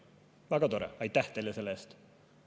Väga tore, aitäh teile selle eest!